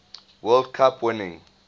world cup winning